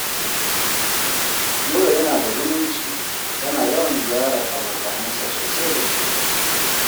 Nura yana da zumunci. Yana yawan ziyarar abokanansa sosai da sosai